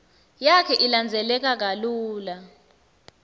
yakhe ilandzeleka kalula